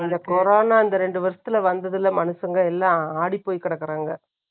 இந்த கொரோனா இந்த ரெண்டு வருஷத்துல வந்தது இல்லை, மனுஷங்க எல்லாம் ஆடிப்போய் கிடக்கிறாங்க